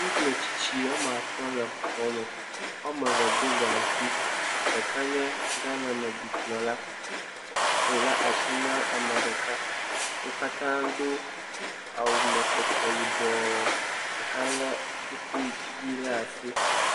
Ŋutsu metsitsi woame atɔ̃ le xɔ me woame ve do gaŋkui, ɖeka nye Ghaname dukplɔla le asi nam ame ɖeka, wo katã wodo awu mekpekpe yibɔ, ɖeka lé kuku ʋi le asi.